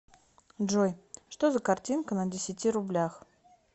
джой что за картинка на десяти рублях